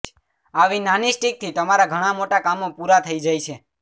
આવી નાની સ્ટિકથી તમારા ઘણાં મોટા કામો પૂરા થઇ જાય છે